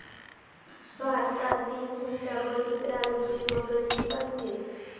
भारतातील हुंडाबळी, प्रारूपे वगळली पाहिजेत.